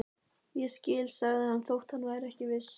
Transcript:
Ég skil sagði hann þótt hann væri ekki viss.